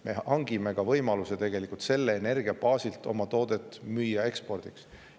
Me saame selle energia baasilt tegelikult ka võimaluse müüa oma toodet ekspordiks.